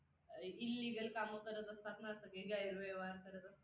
Illegal काम करत असतात ना, सगळे गैरव्यवहार करत असतात.